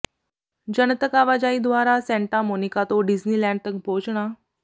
ਜਨਤਕ ਆਵਾਜਾਈ ਦੁਆਰਾ ਸੈਂਟਾ ਮੋਨੀਕਾ ਤੋਂ ਡਿਜ਼ਨੀਲੈਂਡ ਤੱਕ ਪਹੁੰਚਣਾ